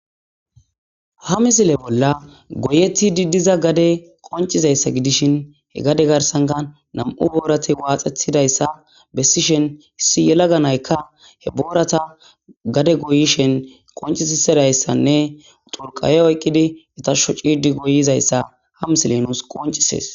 ha misile bolla goyetti diddiza gade qoncizayssa gidishin he gade garsanka nam7u boorati waaxethidayssa bessishen hissi yela ganaykka he boorata gade goyishen qoncisisidayssanne xurqaye oyqqidi itasho ciidi goyizayssa ha misile nuus qoncisees